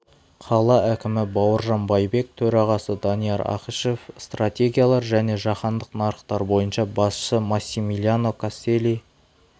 қала әкімі бауыржан байбек төрағасы данияр ақышев стратегиялар және жаһандық нарықтар бойынша басшысы массимилиано кастелии